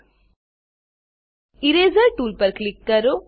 eraser eraser tool પર click કરો